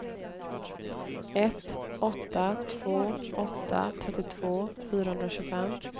ett åtta två åtta trettiotvå fyrahundratjugofem